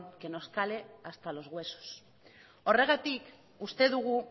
que nos cale hasta los huesos horregatik uste dugu